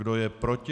Kdo je proti?